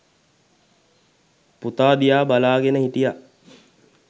පුතා දිහා බලාගෙන හිටියා.